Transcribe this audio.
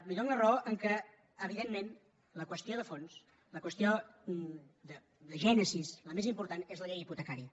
li dono la raó en el fet que evidentment la qüestió de fons la qüestió de gènesi la més important és la llei hipotecària